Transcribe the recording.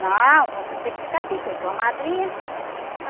Não, você tem que ficar aqui, pensou a madrinha.